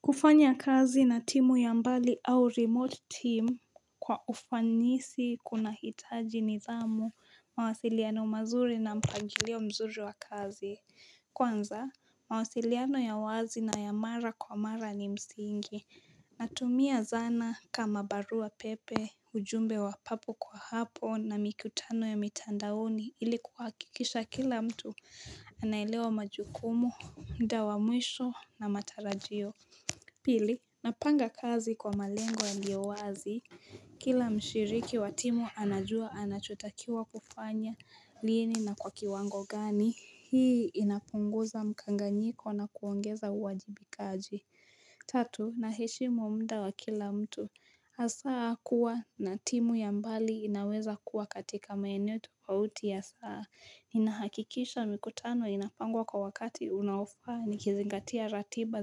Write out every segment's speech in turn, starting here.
Kufanya kazi na timu ya mbali au remote team kwa ufanisi kunahitaji nidhamu, mawasiliano mazuri na mpangilio mzuri wa kazi. Kwanza, mawasiliano ya wazi na ya mara kwa mara ni msingi. Natumia zana kama barua pepe ujumbe wa papo kwa hapo na mikutano ya mitandaoni ili kuhakikisha kila mtu anaelewa majukumu, muda wa mwisho na matarajio. Pili, napanga kazi kwa malengwa yaliowazi Kila mshiriki wa timu anajua anachotakiwa kufanya lini na kwa kiwango gani. Hii inapunguza mkanganyiko na kuongeza uwajibikaji. Tatu naheshimu muda wa kila mtu hasa kuwa na timu ya mbali inaweza kuwa katika maeneo tofauti ya saa Ninahakikisha mikutano inapangwa kwa wakati unaofaa nikizingatia ratiba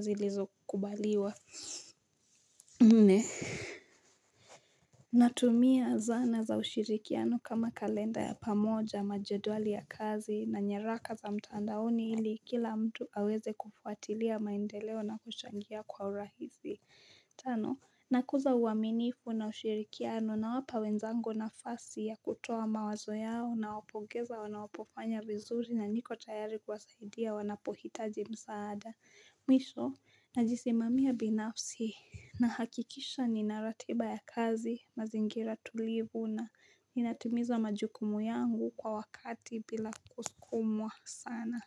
zilizokubaliwa Nne Natumia zana za ushirikiano kama kalenda ya pamoja majedwali ya kazi na nyeraka za mtandaoni hili kila mtu aweze kufuatilia maendeleo na kuchangia kwa urahisi Tano, nakuza uaminifu na ushirikiano nawapa wenzangu nafasi ya kutoa mawazo yao nawapongeza wanapofanya vizuri na niko tayari kuwasaidia wanapohitaji msaada. Mwisho, najisimamia binafsi nahakikisha ninaratiba ya kazi, mazingira tulivu na inatimiza majukumu yangu kwa wakati bila kusukumwa sana.